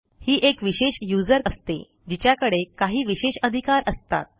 ही एक विशेष यूजर असते जिच्याकडे काही विशेष अधिकार असतात